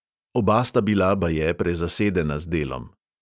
Oba sta bila baje prezasedena z delom.